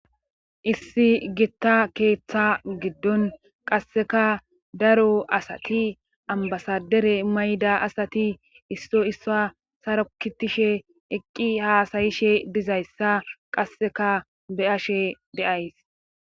issi gitta keeththa giddon qasseka daro asati ambasadere mayda asati isso issa sarokitishe eqqi haasayishe dizayssa qasseka be ashe deays